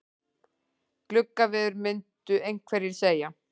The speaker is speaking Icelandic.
Gluggaveður myndu einhverjir segja.